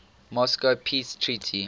moscow peace treaty